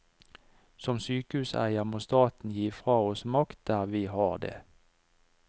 Som sykehuseier må staten gi fra oss makt der vi har det.